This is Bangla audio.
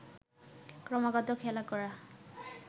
ক্রমাগত খেলা করা